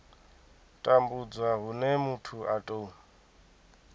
tambudzwa hune muthu a tou